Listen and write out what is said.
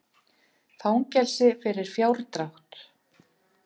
Fangelsi fyrir fjárdrátt